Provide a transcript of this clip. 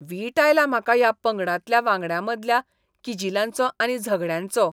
वीट आयला म्हाका ह्या पंगडांतल्या वांगड्यांमदल्या किजिलांचो आनी झगडयांचो.